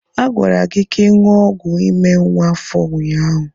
A gwara gị ka ị ṅụọ ọgwụ ime nwa afọ ụnyaahụ.